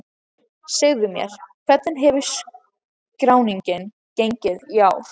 Segðu mér, hvernig hefur skráningin gengið í ár?